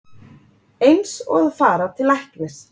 Eins og að fara til læknis